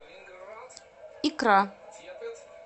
икра